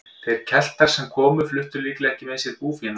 Þeir Keltar sem hingað komu fluttu líklega ekki með sér búfénað.